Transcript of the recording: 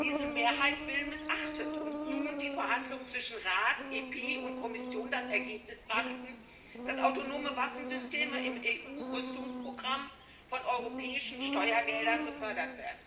diesen Mehrheitswillen missachtet und nun die Verhandlungen zwischen Rat, EP und Kommission das Ergebnis brachten, dass autonome Waffensysteme im EU Rüstungsprogramm mit europäischen Steuergeldern gefördert werden?